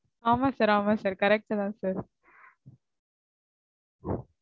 ஆம sir ஆமா sir correct தா sir